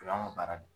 O y'an ka baara de